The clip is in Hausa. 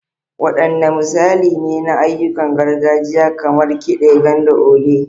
Waɗanne misalai ne na ayyukan gargajiya kamar kidegen da ode?